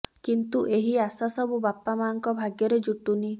କିନ୍ତୁ ଏହି ଆଶା ସବୁ ବାପା ମାଙ୍କ ଭାଗ୍ୟରେ ଜୁଟୁନି